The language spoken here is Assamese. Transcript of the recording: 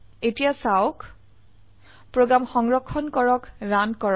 এতিয়া চাওক প্ৰোগ্ৰাম সংৰক্ষণ কৰা ৰান কৰা